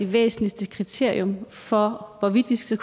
væsentligste kriterium for hvorvidt vi skal